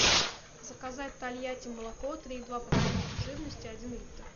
заказать тольятти молоко три и два процента жирности один литр